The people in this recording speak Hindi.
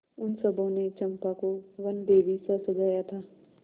उन सबों ने चंपा को वनदेवीसा सजाया था